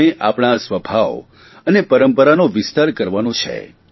આપણે આપણા આ સ્વભાવ અને પરંપરાનો વિસ્તાર કરવાનો છે